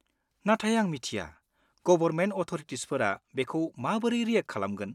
नाथाय आं मिथिया गबरमेन्ट अथ'रिटिसफोरा बेखौ माबोरै रियेक्ट खालामगोन।